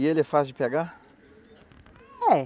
E ele é fácil de pegar? É.